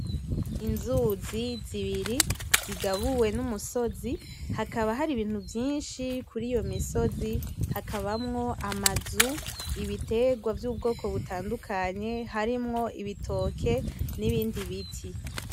Inzuzi zibiri zigabuwe numusozi hakaba hari ibintu vyinshi kuriyo misozi, hakabamwo amazu ibitegwa vyukwoko butandukanye, harimwo ibitoke nibindi biti